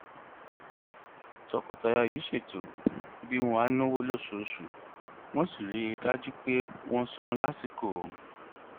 tọkọtaya yìí ṣètò bí wọn á náwó lóṣooṣù wọn sì rí i dájú pé wọn san lásìkò